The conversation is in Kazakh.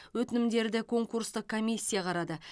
өтінімдерді конкурстық комиссия қарады